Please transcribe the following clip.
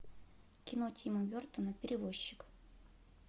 кино тима бертона перевозчик